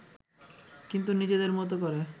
কিন্তু নিজেদের মতো করে